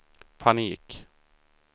panik